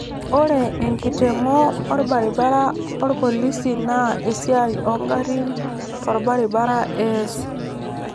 Ore enkitengo orbaribara orpolisi naa esiai oongarrin torbaribara ees